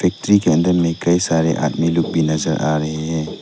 Factory general में कई सारे आदमी लोग भी नजर आ रही है।